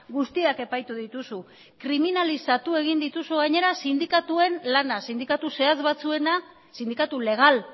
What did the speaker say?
guztiak epaitu dituzu kriminalizatu egin dituzu gainera sindikatuen lana sindikatu zehatz batzuena sindikatu legal